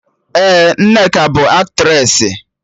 Ee, Nneka bụ Aktressị